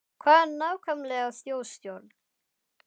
Hvað er nákvæmlega þjóðstjórn?